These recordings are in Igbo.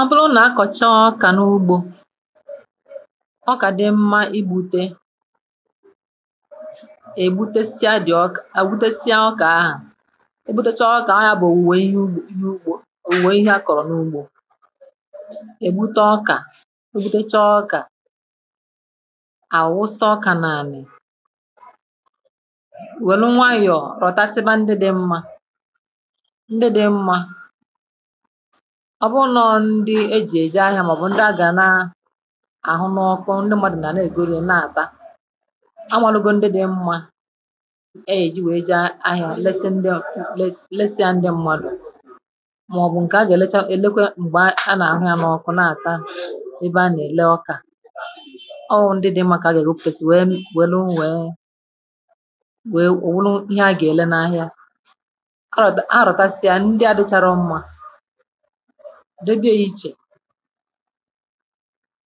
ọ bụrụ na akọ̀chị ọkà n’ugbȯ ọkà dị mma igbute égbute si a dị̀ ọkà egbute si a ọkà ahà egbute chọọ ọkà ahà bụ̀ òwùwè ihe ugbȯ òwùwè ihe akọ̀rọ̀ n’ugbȯ ègbute ọkà egbute chọọ ọkà àwụsa ọkà na ànị ùwè nụ nwayọ̀ rọtasiba ndị dị̇ mmȧ ọ bụrụ na ndị eji̇ èje ahịa màọbụ ndị a gàna àhụ n’ọkụ ndị mmadụ̀ nà na-egolo n’àba anwàlụgwa ndị dị̇ mmȧ e yèji wèe je ahịa lesịa ndị mmadụ̀ màọbụ ǹkè a gà na-elekwa m̀gbè a nà-àhụ n’ọkụ na-àta ebe a nà-èle ọkà ọụ ndị dị̇ mmȧ kà a gà eghopùtesi wèe wèluu wèe wèe wùluu ihe a gà-èle na ahịa ǹdebe eyi̇chè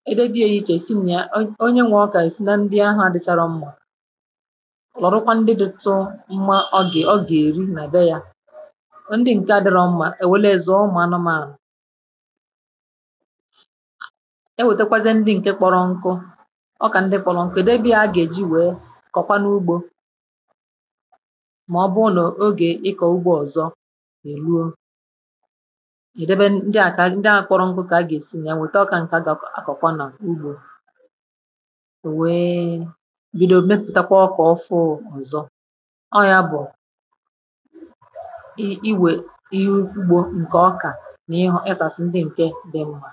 e debe eyi̇chè sinyèrè onye nwè ike ọkà èsị na ndị ahụ̇ adịchara mmȧ lọ̀rụkwa ndị dụ̇tụ mmȧ ọgè ọ gà-èri nà-èbe yȧ ndị ǹke adịral mmȧ èwèle èzò ụmụ̀ anọm àrụ̀ e nwètekwazị ndị ǹke kpọrọ nkụ ọkà ndị kpọrọ nkụ èdebe ya a gà-èji wèe kọkwa n’ugbȯ màọbụụ nà ogè ịkọ̇ ugbȯ ọzọ ẹ̀dẹbẹ ndị à kà ndị à akwọrọ nkwụ kà a gà ẹ̀sịnye wẹ̀ta ọkà ǹkẹ̀ a gọ̀kwà n’ugbȯ ò wee bido mepụ̀takwa ọkà ọzọ ọ yȧ bụ̀ ị iwè ihe ugbȯ ǹkẹ̀ ọkà nà ịpàsị ndị ǹkẹ̀ dị mma